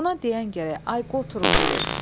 Buna deyən gərək, ay qoturun biri.